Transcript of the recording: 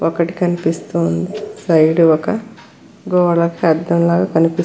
ఒకటి కనిపిస్తోంది సైడు ఒక గోడకి అద్దంలగా కనిపిస్తుం --